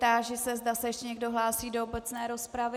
Táži se, zda se ještě někdo hlásí do obecné rozpravy.